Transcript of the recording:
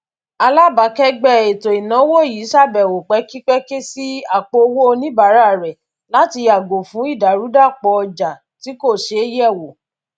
alábàákẹgbẹ ètò ináwó yí ṣàbẹwò pẹkípẹkí sí àpòowó oníbàárà rẹ láti yàgò fún ìdàrúdàpọ ojà tí kò ṣeé yẹ wò